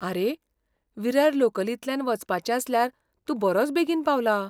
आरे, विरार लोकलींतल्यान वचपाचें आसल्यार तूं बरोच बेगीन पावला.